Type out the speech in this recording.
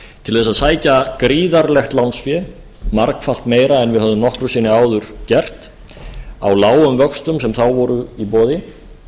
til að sækja gríðarlegt lánsfé margfalt meira en við höfðum nokkru sinni áður gert á lágum vöxtum sem þá voru í boði